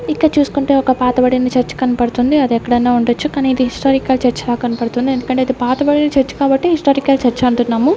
ఇక్కడ చూసుకుంటే ఒక పాత బడిన చర్చ్ కన్పడుతుంది అది ఎక్కడన్న ఉండొచ్చు కనీ ఇది హిస్టారికల్ చర్చి ల కన్పడుతుంది ఎందుకంటే ఇది పాతబడిన చర్చ్ కాబట్టి హిస్టారికల్ చర్చ్ అంటున్నాము.